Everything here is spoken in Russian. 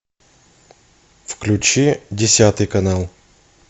включи десятый канал